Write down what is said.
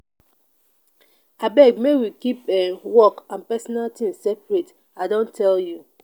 abeg make we keep um work and personal tins tins separate. i don tell you.